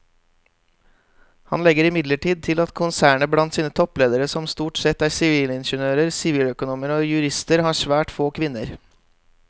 Han legger imidlertid til at konsernet blant sine toppledere som stort sette er sivilingeniører, siviløkonomer og jurister har svært få kvinner.